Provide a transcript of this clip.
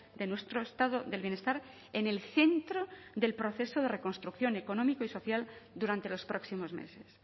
de nuestro estado del bienestar en el centro del proceso de reconstrucción económico y social durante los próximos meses